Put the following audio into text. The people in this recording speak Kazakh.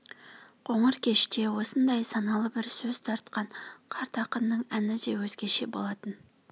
қоңыр кеште осындай саналы бір сөз тартқан қарт ақынның әні де өзгеше болатын